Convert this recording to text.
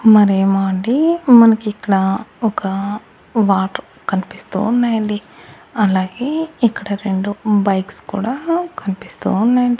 మరేమో అండి మనకి ఇక్కడ ఒక వాటర్ కనిపిస్తూ ఉన్నాయండి. అలాగే ఇక్కడ రెండు బైక్స్ కూడా కనిపిస్తూ ఉన్నాయండి.